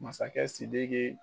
Masakɛ Sidiki